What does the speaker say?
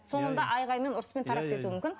соңында айғаймен ұрыспен тарап кетуі мүмкін